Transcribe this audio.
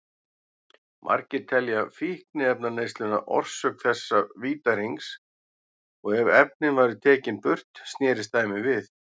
Margir telja fíkniefnaneysluna orsök þessa vítahrings og ef efnin væru tekin burt snerist dæmið við.